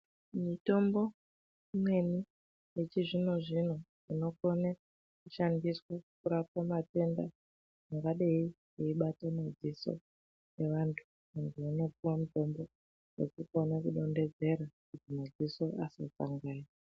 Mitombo imweni yechizvino-zvino inokone kushandiswe kurape matenda angadai eibata madziso evantu, kundopiwa mutombo wekudonhedzera kuti madziso asakanganisika.